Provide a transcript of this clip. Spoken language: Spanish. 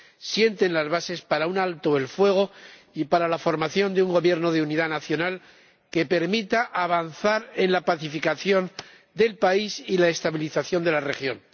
sienten las bases para un alto el fuego y para la formación de un Gobierno de unidad nacional que permita avanzar en la pacificación del país y la estabilización de la región.